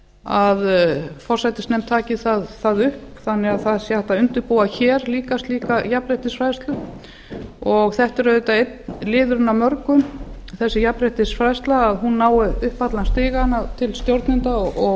að hún taki það upp þannig að það sé hægt að undirbúa hér líka slíka jafnréttisfræðslu þetta er auðvitað einn liðurinn af mörgum þessi jafnréttisfræðsla þannig að hún nái upp allan stigann til stjórnenda og